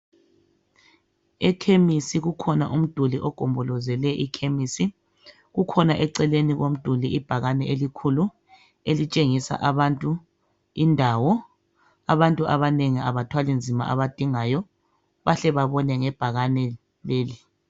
Ekhemisi kukhona umduli ogombolozele ikhemisi. Kukhona eceleni komduli ibhakane elikhulu elitshengisa abantu indawo. Abantu abanengi abathwalinzima abadingayo bahle babone ngebhakane leli.